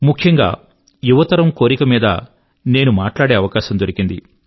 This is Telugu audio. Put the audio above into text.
ముఖ్యం గా యువతరం యొక్క కోరిక మీద నేను మాట్లాడే అవకాశం దొరికింది